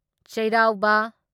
ꯆꯩꯔꯥꯎꯕ